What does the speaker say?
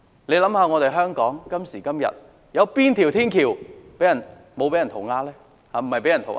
大家想想，今時今日，有哪條天橋沒有被人塗鴉呢？